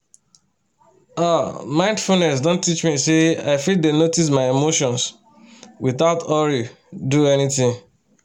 ah mindfulness don teach me say i fit dey notice my emotions without hurry do anything